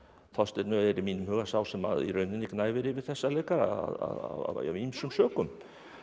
Þorsteinn ö er í mínum huga sá sem í rauninni gnæfir yfir þessa leikara af ýmsum sökum